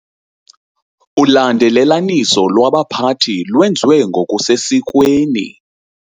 Ulandelelaniso lwabaphathi lwenziwe ngokusesikweni.